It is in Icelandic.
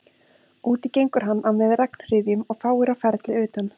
Úti gengur hann á með regnhryðjum og fáir á ferli utan